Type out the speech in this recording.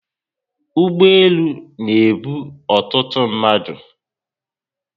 Ụgbọelu na ebu ọtụtụ mmadụ